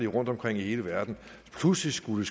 og rundtomkring i hele verden pludselig skulle